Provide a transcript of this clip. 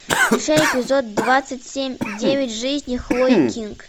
включай эпизод двадцать семь девять жизней хлои кинг